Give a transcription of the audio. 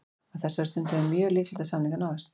Á þessari stundu er mjög líklegt að samningar náist.